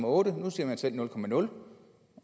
otte nu siger man selv nul